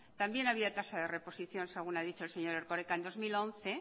también había tasa de reposición según ha dicho el señor erkoreka en dos mil once